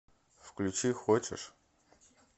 включи хочешь